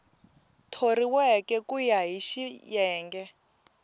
thoriweke ku ya hi xiyenge